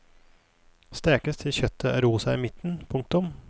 Stekes til kjøttet er rosa i midten. punktum